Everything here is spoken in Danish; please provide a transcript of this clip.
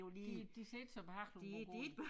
De de ser ikke så behagelige ud at gå i